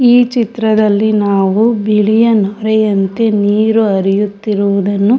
ಈ ಚಿತ್ರದಲ್ಲಿ ನಾವು ಬಿಳಿಯ ನೊರೆಯಂತೆ ನೀರು ಹರಿಯುತ್ತಿರುವುದನ್ನು--